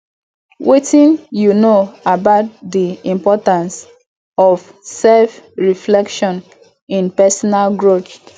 wetin you know about di importance of selfreflection in personal growth